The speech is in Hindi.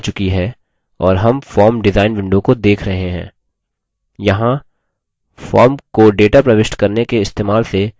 यहाँ form को data प्रविष्ट करने के इस्तेमाल से पहले हम कुछ बदलाव करने जा रहे हैं